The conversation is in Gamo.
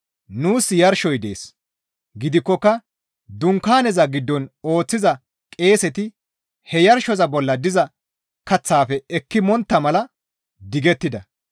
Nuus yarshosoy dees; gidikkoka dunkaaneza giddon ooththiza qeeseti he yarshosoza bolla diza kaththaafe ekki montta mala digettida.